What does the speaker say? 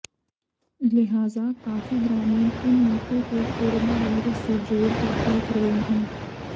लिहाजा काफी ग्रामीण इन मौतों को कोरोना वायरस से जोड़कर देख रहे हैं